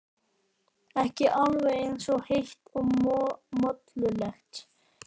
Ekki alveg eins heitt og mollulegt og síðustu daga.